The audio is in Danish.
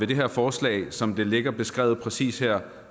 det her forslag som det ligger beskrevet præcis her